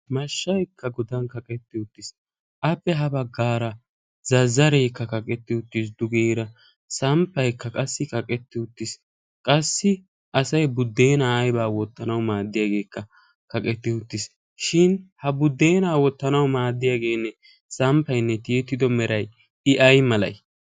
issi sohuwan samppay de'ees. shin ha budeenaa wottanawu maadiya sampaa meray ay malatii?